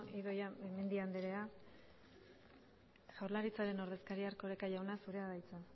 idoia mendia andrea jaurlaritzaren ordezkaria erkoreka jauna zurea da hitza